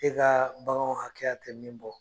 E ka baganw hakɛya tɛ min bɔ.